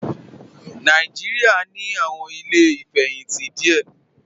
Nàìjíríà ní àwọn ilé ìfẹ̀yìntì díẹ̀